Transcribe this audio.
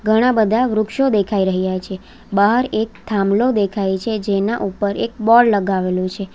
ઘણા બધા વૃક્ષો દેખાઈ રહ્યા છે બહાર એક થાંભલો દેખાય છે જેના ઉપર એક બોર્ડ લગાવેલું છે.